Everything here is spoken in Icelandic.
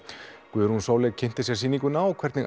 Guðrún Sóley kynnti sér sýninguna og hvernig